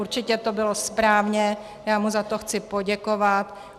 Určitě to bylo správně, já mu za to chci poděkovat.